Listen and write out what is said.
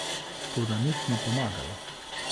Toda nič ni pomagalo.